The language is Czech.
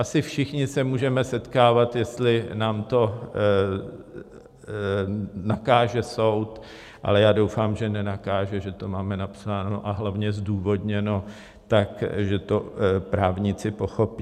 Asi všichni se můžeme setkávat, jestli nám to nakáže soud, ale já doufám, že nenakáže, že to máme napsáno, a hlavně zdůvodněno tak, že to právníci pochopí.